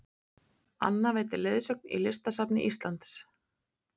Anna veitir leiðsögn í Listasafni Íslands